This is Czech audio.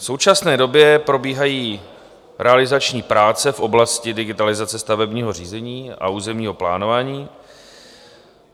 V současné době probíhají realizační práce v oblasti digitalizace stavebního řízení a územního plánování.